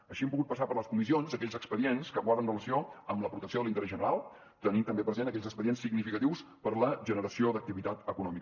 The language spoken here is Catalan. així hem pogut passar per les comissions aquells expedients que guarden relació amb la protecció de l’interès general tenint també presents aquells expedients significatius per a la generació d’activitat econòmica